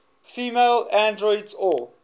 female androids or